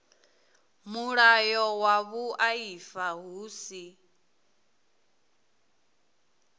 mulayo wa vhuaifa hu si